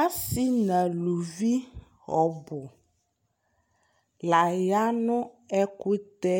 Asi nʋ alʋvi ɔbʋ layanʋ ɛkʋtɛ